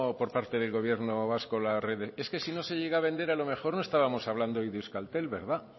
por parte del gobierno vasco es que si no se llega a vender a lo mejor no estábamos hablando hoy de euskaltel verdad